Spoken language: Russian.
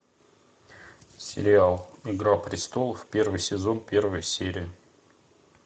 сериал игра престолов первый сезон первая серия